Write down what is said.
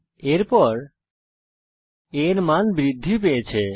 এরপর a এর মান বৃদ্ধি পেয়েছে